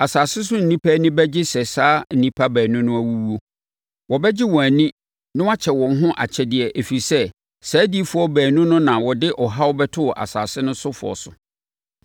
Asase so nnipa ani bɛgye sɛ saa nnipa baanu no awuwu. Wɔbɛgye wɔn ani na wɔakyɛ wɔn ho akyɛdeɛ ɛfiri sɛ, saa adiyifoɔ baanu no na wɔde ɔhaw bɛtoo asase sofoɔ so.